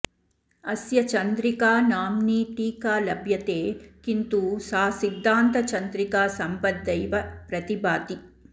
अस्य चंद्रिकानाम्नी टीका लभ्यते किन्तु सा सिद्धान्तचंद्रिका सम्बद्धैव प्रतिभाति